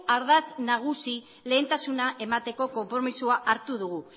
ardatz nagusi lehentasuna emateko konpromisoa hartu dugu